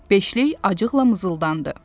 Beşlik acıqla mızıldandı.